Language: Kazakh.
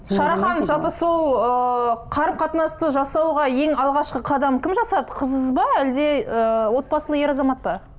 шара ханым жалпы сол ыыы қарым қатынасты жасауға ең алғашқы қадам кім жасады қыз ба әлде ыыы отбасылы ер азамат па